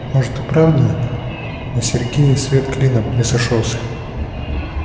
может и правда на сергее свет клином не сошёлся